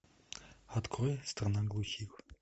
открой страна глухих